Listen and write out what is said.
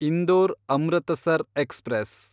Indore Amritsar express